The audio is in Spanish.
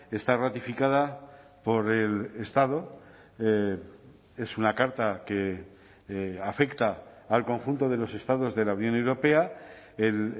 está ratificada por el estado es una carta que afecta al conjunto de los estados de la unión europea el